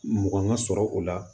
Mugan ka sɔrɔ o la